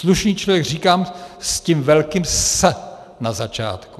Slušný člověk říkám s tím velkým S na začátku.